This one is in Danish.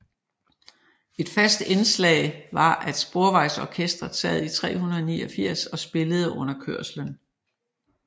Et fast indslag var at Sporvejsorkestret sad i 389 og spillede under kørslen